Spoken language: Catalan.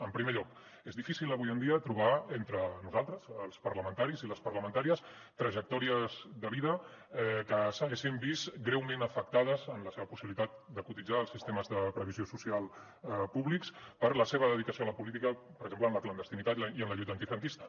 en primer lloc és difícil avui en dia trobar entre nosaltres els parlamentaris i les parlamentàries trajectòries de vida que s’haguessin vist greument afectades en la seva possibilitat de cotitzar els sistemes de previsió social públics per la seva dedicació a la política per exemple en la clandestinitat i en la lluita antifranquista